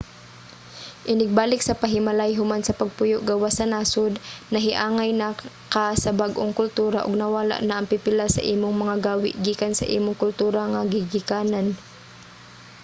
inig balik sa panimalay human sa pagpuyo gawas sa nasud nahiangay na ka sa bag-ong kultura ug nawala na ang pipila sa imong mga gawi gikan sa imong kultura nga gigikanan